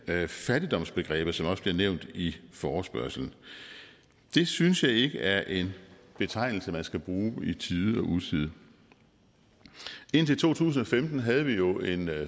er fattigdomsbegrebet som også bliver nævnt i forespørgslen det synes jeg ikke er en betegnelse man skal bruge i tide og utide indtil to tusind og femten havde vi jo en